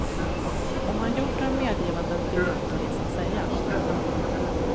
Om han gjort några medgivanden vill inte polisen säga.